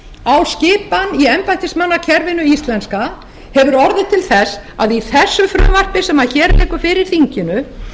á skipan í embættismannakerfinu íslenska hefur orðið til þess að í þessu frumvarpi sem hér liggur fyrir þinginu